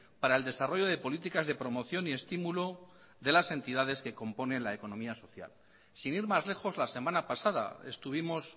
para el desarrollo de políticas de promoción y estímulo de las entidades que componen la economía social sin ir más lejos la semana pasada estuvimos